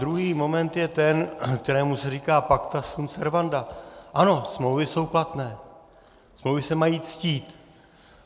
Druhý moment je ten, kterému se říká pacta sunt servanda, ano, smlouvy jsou platné, smlouvy se mají ctít.